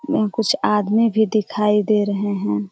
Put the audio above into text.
यहां कुछ आदमी भी दिखाई दे रहे हैं।